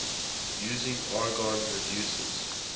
using argon reduces